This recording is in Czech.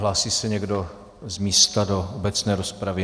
Hlásí se někdo z místa do obecné rozpravy?